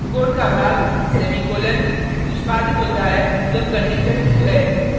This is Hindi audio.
कोड का भाग सेमीकॉलन निष्पादित होता है जब कंडिशन true है